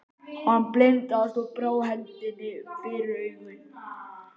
Hann blindaðist og brá hendinni fyrir augun.